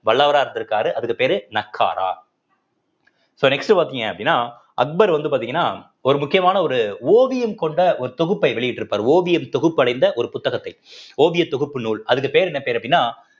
வல்லவரா இருந்திருக்காரு அதுக்கு பேரு நக்காரா so next பார்த்தீங்க அப்படின்னா அக்பர் வந்து பார்த்தீங்கன்னா ஒரு முக்கியமான ஒரு ஓவியம் கொண்ட ஒரு தொகுப்பை வெளியிட்டிருப்பார் ஓவியம் தொகுப்படைந்த ஒரு புத்தகத்தை ஓவியத் தொகுப்பு நூல் அதுக்கு பேரு என்ன பேரு அப்படின்னா